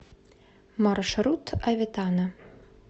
маршрут аветана